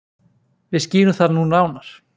Við skýrum það nú nánar.